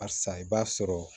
A sa i b'a sɔrɔ